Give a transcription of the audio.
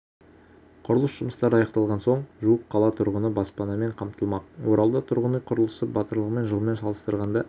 құрылыс жұмыстары аяқталған соң жуық қала тұрғыны баспанамен қамтылмақ оралда тұрғын үй құрылысы былтырғы жылмен салыстырғанда